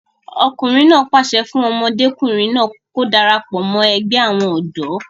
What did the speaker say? ọkùnrin náà pàṣẹ fún ọmọdékùnrin náà kí ó darapọ̀ mọ́ ẹgbẹ́ àwọn ọ̀dọ́